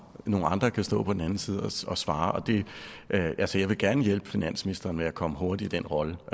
nogle andre kan stå på den anden side og svare altså jeg vil bestemt gerne hjælpe finansministeren med at komme hurtigt i den rolle